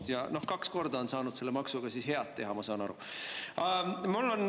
Noh, ma saan aru, et kaks korda on siis saadud selle maksuga head teha.